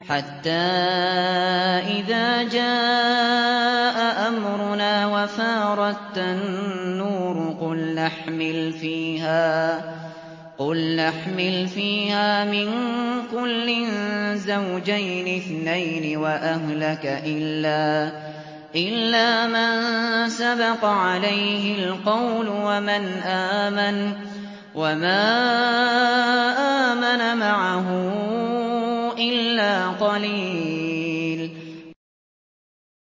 حَتَّىٰ إِذَا جَاءَ أَمْرُنَا وَفَارَ التَّنُّورُ قُلْنَا احْمِلْ فِيهَا مِن كُلٍّ زَوْجَيْنِ اثْنَيْنِ وَأَهْلَكَ إِلَّا مَن سَبَقَ عَلَيْهِ الْقَوْلُ وَمَنْ آمَنَ ۚ وَمَا آمَنَ مَعَهُ إِلَّا قَلِيلٌ